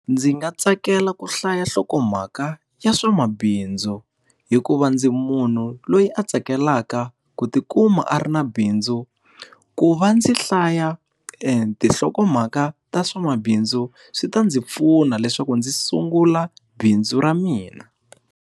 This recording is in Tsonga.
Ndzi nga tsakela ku hlaya nhlokomhaka ya swamabindzu. Hikuva ndzi munhu loyi a tsakelaka ku ti kuma a ri na bindzu. Ku va ndzi hlaya tinhlokomhaka ta swamabindzu, swi ta ndzi pfuna leswaku ndzi sungula bindzu ra mina.